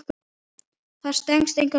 Það stenst enga skoðun.